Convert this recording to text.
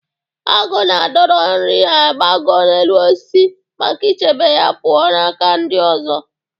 Agụ na-adọro nri ha gbagoo na elu osisi maka ichebe ya pụọ ​​n'aka anu ndi ozo.